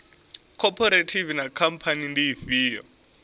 khophorethivi na khamphani ndi ifhio